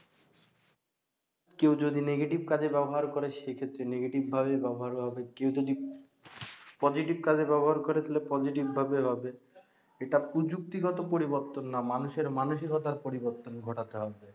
কেউ যদি negative কাজে ব্যাবহার করে সেক্ষেত্রে নেগেটিভ ভাবে ব্যাবহার হবে কেউ যদি পজিটিভ কাজে ব্যাবহার করে তাহলে positive ভাবে হবে এটা প্রযুক্তি গত পরিবর্তন না মানুষের মানসিকতার পরিবর্তন ঘটাতে হবে